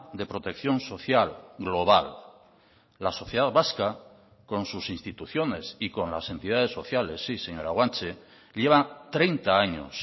de protección social global la sociedad vasca con sus instituciones y con las entidades sociales sí señora guanche lleva treinta años